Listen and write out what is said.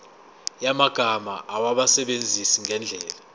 yamagama awasebenzise ngendlela